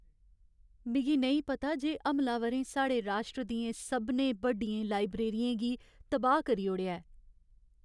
मिगी नेईं पता जे हमलावरें साढ़े राश्ट्र दियें सभनें बड्डियें लाइब्रेरियें गी की तबाह् करी ओड़ेआ।